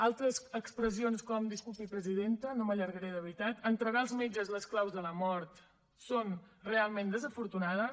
altres expressions com disculpi presidenta no m’allargaré de veritat entregar als metges les claus de la mort són realment desafortunades